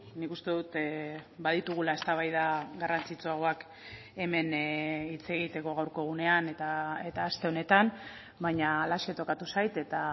nik uste dut baditugula eztabaida garrantzitsuagoak hemen hitz egiteko gaurko egunean eta aste honetan baina halaxe tokatu zait eta